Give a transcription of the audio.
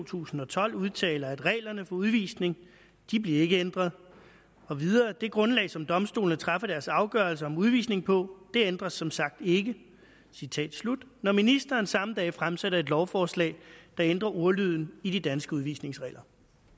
tusind og tolv udtaler at reglerne for udvisning de bliver ikke ændret og det grundlag som domstolene træffer deres afgørelse om udvisning på det ændres som sagt ikke når ministeren samme dag fremsætter et lovforslag der ændrer ordlyden i de danske udvisningsregler